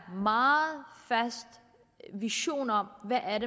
meget fast vision om hvad